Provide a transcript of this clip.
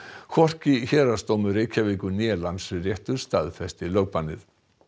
hvorki Héraðsdómur Reykjavíkur né Landsréttur staðfesti lögbannið